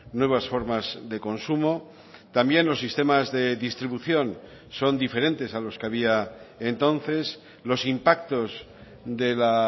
nuevas formas de consumo también los sistemas de distribución son diferentes a los que había entonces los impactos de la